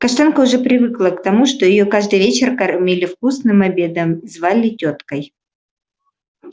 каштанка уже привыкла к тому что её каждый вечер кормили вкусным обедом и звали тёткой